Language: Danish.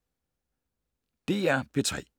DR P3